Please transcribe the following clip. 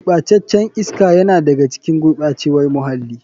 Gurɓacen can iska yana da ga cikin gurɓacewar muhalli.